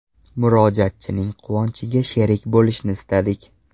Murojaatchining quvonchiga sherik bo‘lishni istadik.